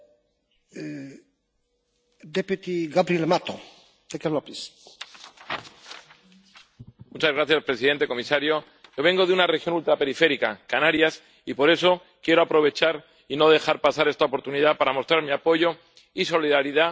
Señor presidente, comisario, yo vengo de una región ultraperiférica, Canarias, y por eso quiero aprovechar y no dejar pasar esta oportunidad para mostrar mi apoyo y solidaridad con estas maravillosas islas que merecen un apoyo especial inmediato de la Unión Europea ante la tragedia que están viviendo.